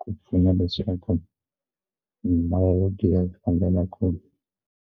ku pfuna leswaku mimoya yo giya yi fambela kule.